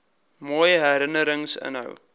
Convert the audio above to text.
mooi herinnerings inhou